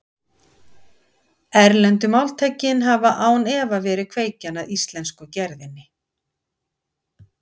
Erlendu máltækin hafa án efa verið kveikjan að íslensku gerðinni.